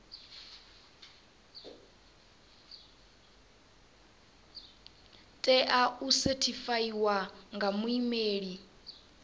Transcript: tea u sethifaiwa nga muimeli